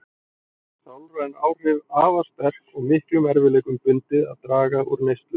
Sálræn áhrif afar sterk og miklum erfiðleikum bundið að draga úr neyslu.